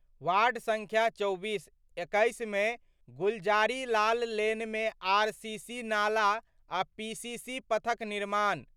Ward संख्या 24: 21 मे गुलजारी लाल लेनमे आरसीसी नाला आ पीसीसी पथक निर्माण।